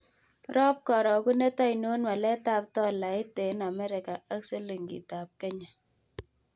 Rop karogunet ainon waletap tolait eng' Amerika ak silingitap Kenya